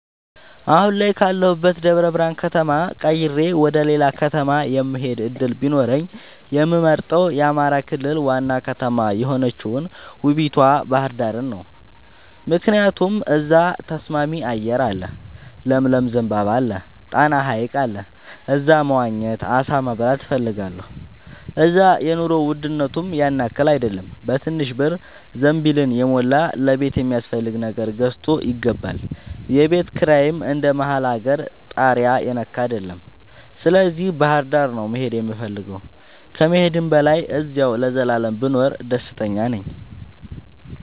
አሁን ካለሁበት ደብረብርሃን ከተማ ቀይሬ ወደሌላ ከተማ የመሆድ እድል ቢኖረኝ የምመርጠው የአማራ ክልል ዋና ከተማ የሆነችውን ውቡቷ ባህርዳርን ነው። ምክንያቱም እዛ ተስማሚ አየር አለ ለምለም ዘንባባ አለ። ጣና ሀይቅ አለ እዛ መዋኘት አሳ መብላት እፈልጋለሁ። እዛ የኑሮ ውድነቱም ያንያክል አይደለም በትንሽ ብር ዘንቢልን የሞላ ለቤት የሚያስፈልግ ነገር ገዝቶ ይገባል። የቤት ኪራይም እንደ መሀል አገር ታሪያ የነካ አይደለም ስለዚህ ባህርዳር ነው መሄድ የምፈልገው ከመሄድም በላይ አዚያው ለዘላለም ብኖር ደስተኛ ነኝ።